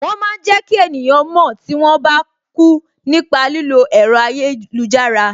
Wọn máa ń jẹ ki eniyan mo tí wọn bá kú nípa lílo ẹ̀rọ ayélujára